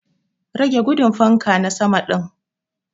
Rage gudun fanka na sama din.